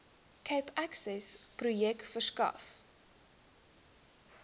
cape accessprojek verskaf